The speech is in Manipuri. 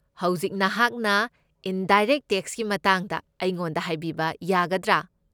ꯍꯧꯖꯤꯛ ꯅꯍꯥꯛꯅ ꯏꯟꯗꯥꯏꯔꯦꯛꯠ ꯇꯦꯛꯁꯀꯤ ꯃꯇꯥꯡꯗ ꯑꯩꯉꯣꯟꯗ ꯍꯥꯏꯕꯤꯕ ꯌꯥꯒꯗ꯭ꯔꯥ?